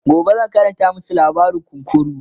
gobe zan Karanta masu labarin kunkuru